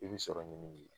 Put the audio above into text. I bɛ sɔrɔ ɲini